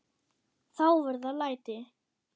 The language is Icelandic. Þá verða læti.